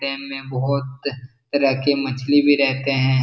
dam में बहुत तरह के मछली भी रहते हैं |